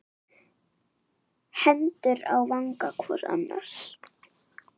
Hendur á vanga hvor annars.